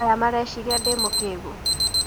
Aya mareciria ndĩ mũkĩgu.